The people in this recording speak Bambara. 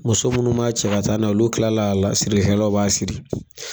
Muso munnu b'a cɛ ka taa na ye olu kila a la sirili kɛlaw b'a siri